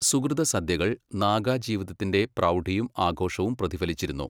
സുകൃതസദ്യകൾ നാഗാ ജീവിതത്തിന്റെ പ്രൗഢിയും ആഘോഷവും പ്രതിഫലിച്ചിരുന്നു.